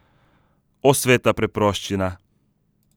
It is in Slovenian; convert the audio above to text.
O, sveta preproščina!